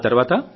ఆతర్వాత